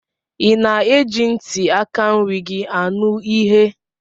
Ị na-eji ntị aka nri gị anụ ihe?